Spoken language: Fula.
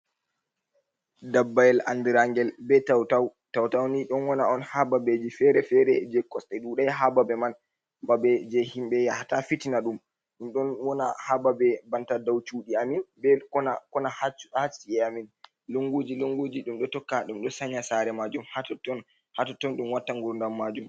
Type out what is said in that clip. Dabbayel andirangel be Tautau. Tautauni ɗon wona'on ha Babeji fere-fere je Kosɗa ɗudai ha babe man. Babe je himɓe yahata Fitina ɗu, ɗum ɗon wona ha Babe banta dau Cuɗi amen be Kona Kona ha cu ha Ci'eji amin. Lunguji lunguji ɗum ɗo tokka ɗum ɗo Sanya Sare majum ha totton, ha Totton ɗum watta Ngurndam majum.